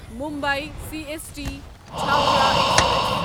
Mumbai C S T Chhapra express